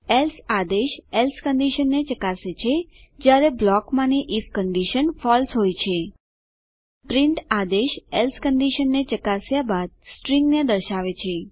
else આદેશ else કંડીશનને ચકાસે છે જયારે બ્લોકમાંની આઇએફ કંડીશન ફળસે હોય છે પ્રિન્ટ આદેશ એલ્સે કંડીશનને ચકાસ્યા બાદ સ્ટ્રીંગને દર્શાવે છે